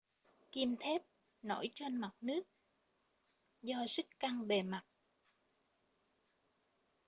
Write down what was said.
kim thép nổi trên mặt nước do sức căng bề mặt